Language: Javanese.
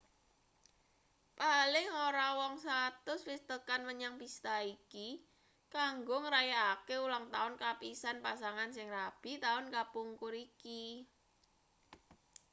paling ora wong 100 wis tekan menyang pista iki kanggo ngrayakake ulangtaun kapisan pasangan sing rabi taun kapungkur iki